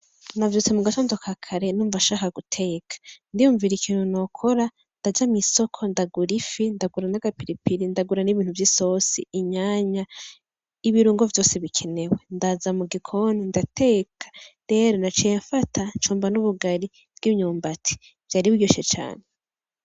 Navyutse mu gatondo ka kare numva nshaka guteka, ndiyumvira ikintu nokora ndaja mw'isoko ndagura ifi ndagura n'agapiripiri n'ibintu vy'isosi inyanya, ibirungo vyose bikenewe, ndaza mu gikoni ndateka rero naciye mfata ncumba n'ubugari bw'imyumbati, vyari biryoshe cane.